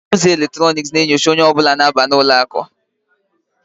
Ọnụ ụzọ eletrọnịkị ga-enyocha onye ọ bụla na-abanye n'ụlọ akụ